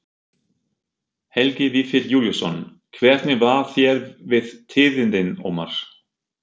Helgi Vífill Júlíusson: Hvernig varð þér við tíðindin, Ómar?